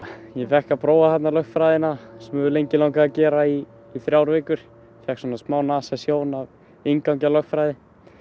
ég fékk að prófa þarna lögfræðina sem mig hefur lengi langað að gera í í þrjár vikur fékk svona smá nasasjón af inngangi að lögfræði